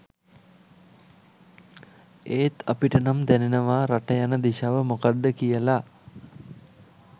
ඒත් අපිටනම් දැ‍නෙනවා රට යන දිශාව මොකක්ද කියල..